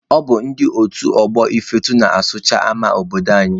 Ọ bụ ndị otu ọgbọ Ifeatụ na-asụcha ama obodo anyị.